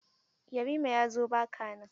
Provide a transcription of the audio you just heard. Yarima ya zo ba ka nan.